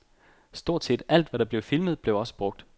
Stort set alt, hvad der blev filmet, blev også brugt.